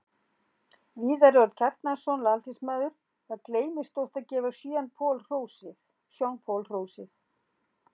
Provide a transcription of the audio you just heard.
Viðar Örn Kjartansson, landsliðsmaður Það gleymist oft að gefa Sean Paul hrósið.